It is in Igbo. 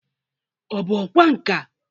Ọ bụ ọkwa nka?